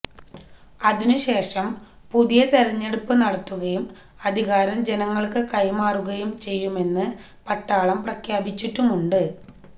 അതിനുശേഷം പുതിയ തിരഞ്ഞെടുപ്പ് നടത്തുകയും അധികാരം ജനങ്ങള്ക്കു കൈമാറുകയും ചെയ്യുമെന്നു പട്ടാളം പ്രഖ്യാപിച്ചിട്ടുമുണ്ട്